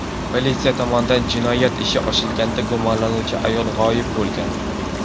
Politsiya tomonidan jinoyat ishi ochilganda gumonlanuvchi ayol g‘oyib bo‘lgan.